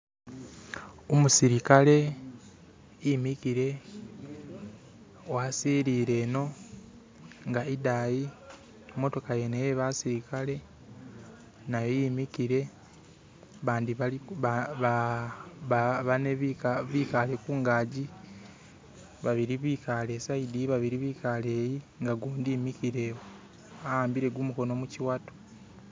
Umusilikale imikile wasilile eno inga idayi imotoka yene yebasilikale nayo yimikile bane bikale kungagi babili bikale isayidiyi babili bikale yi inga gudi mikilewo awambile gumukono muchiwato